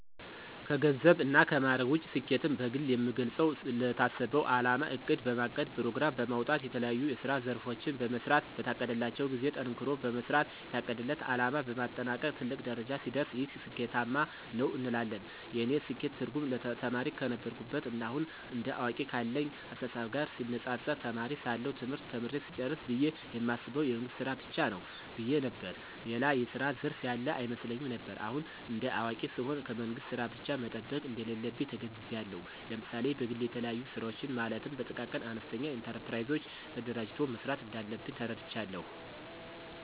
ከገንዘብ እና ከማዕረግ ውጭ ስኬትን በግሌ የምገልጸው ለታሰበው አላማ እቅድ በማቀድ ፕሮግራም በማውጣት የተለያዬ የስራ ዘርፎችን በመሥራት በታቀደላቸው ጊዜ ጠንክሮ በመስራት የታቀደለት አለማ በማጠናቀቅ ትልቅ ደረጃ ሲደርስ ይህ ስኬታማ ነው እንላለን። የእኔ ስኬት ትርጉም ተማሪ ከነበርኩበት ና አሁን እንደ አዋቂ ካለኝ አስተሳሰብ ጋር ሲነፃፀር ተማሪ ሳለሁ ትምህርት ተምሬ ስጨርስ ብየ የማስበው የመንግስት ስራ ብቻ ነው ብየ ነበር። ሌላ የስራ ዘርፍ ያለ አይመስለኝም ነበር። አሁን እንደ አዋቂ ስሆን ከመንግስት ስራ ብቻ መጠበቅ እንደሌለብኝ ተገንዝቤአለሁ። ለምሳሌ በግሌ የተለያዩ ስራወችን ማለትም በጥቃቅንና አነስተኛ ኢንተርፕራይዞች ተደራጅቶ መስራት እንዳለብኝ ተረድቻለሁ።